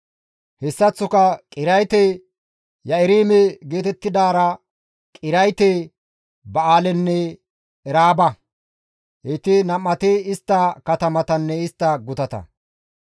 Hessaththoka Qiriyaate-Yi7aarime geetettidaara Qiriyaate-Ba7aalenne Eraaba; heyti nam7ati istta katamatanne istta gutata.